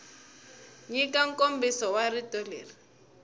nyika nkomiso wa rito leri